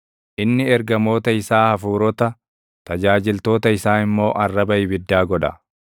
Inni ergamoota isaa hafuurota, tajaajiltoota isaa immoo arraba ibiddaa godha.